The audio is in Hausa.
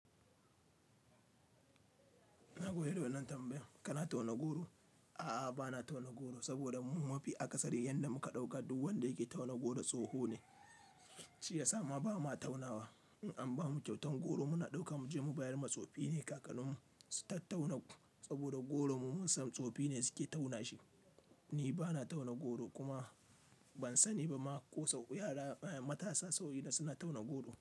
Na goyo da wannan tambayan kana tauna goro? A'a bana tauna goro saboda mu mafi akasari yanda muka ɗauka duk wanda yake tauna goro tsoho ne. Shi ya sa ma bamu taunawa in an bamu kyautan goro muna ɗaukan mu je mu bayar ma tsofi ne. Kakanninmu su ta tauna saboda goro mu musam tsofi ne suke tauna shi. Ni bana tauna goro kuma ban sani ba ma ko sau matasa sauyi da suna tauna goro.